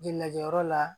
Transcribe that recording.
Ji lajɛyɔrɔ la